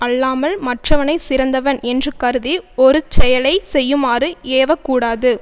அல்லாமல் மற்றவனை சிறந்தவன் என்று கருதி ஒரு செயலை செய்யுமாறு ஏவ கூடாது